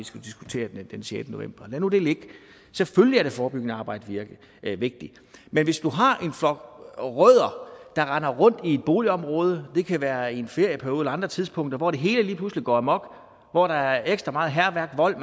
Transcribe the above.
skal diskutere den sjette november lad nu det ligge selvfølgelig er det forebyggende arbejde vigtigt men hvis du har en flok rødder der render rundt i et boligområde det kan være i en ferieperiode eller på andre tidspunkter hvor det hele lige pludselig går amok hvor der er ekstra meget hærværk og vold og